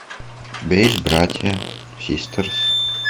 у тебя есть братья систерс